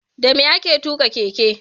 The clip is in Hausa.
Dame ake tuka keke?